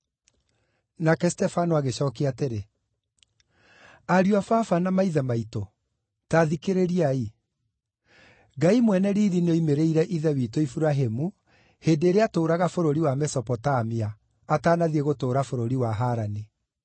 Nake Stefano agĩcookia atĩrĩ, “Ariũ a Baba na maithe maitũ, ta thikĩrĩriai! Ngai mwene riiri nĩoimĩrĩire ithe witũ Iburahĩmu hĩndĩ ĩrĩa aatũũraga bũrũri wa Mesopotamia, atanathiĩ gũtũũra bũrũri wa Harani.